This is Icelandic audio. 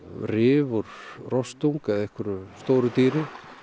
rif úr rostung eða einhverju stóru dýri